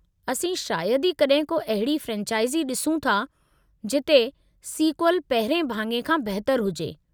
असीं शायदि ई कॾहिं को अहिड़ी फ्रेंचाइज़ ॾिसूं था जिथे सीक्वल पहिरिएं भाङे खां बहितरु हुजे।